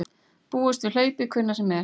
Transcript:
Búast við hlaupi hvenær sem er